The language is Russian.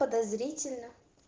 подозрительно